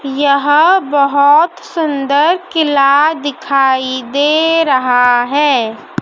यहां बहोत सुंदर किला दिखाई दे रहा है।